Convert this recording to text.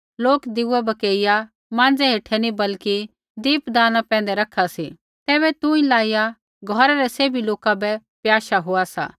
लोक दीया बकेइया माँज़ै हेठै नी बल्कि दीपदानी पैंधै रखा सी तैबै तुंई लाइया घौरा रै सैभी लोका बै प्याशा होआ सा